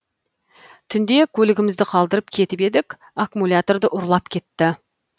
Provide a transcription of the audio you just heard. түнде көлігімізді қалдырып кетіп едік аккумуляторды ұрлап кетті